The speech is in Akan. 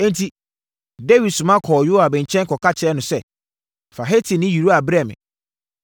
Enti, Dawid soma kɔɔ Yoab nkyɛn kɔka kyerɛɛ no sɛ, “Fa Hetini Uria brɛ me.”